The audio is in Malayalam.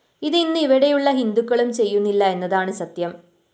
ഇത്‌ ഇന്ന്‌ ഇവിടെയുള്ള ഹിന്ദുക്കളും ചെയ്യുന്നില്ല എന്നതാണ്‌ സത്യം